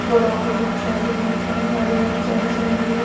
ବଡ ବଡ ଗଛ ଅଛି ବହୁତ ସାରା ଗାଡିଆର ଚାରି ସାଇଡ ରେ ।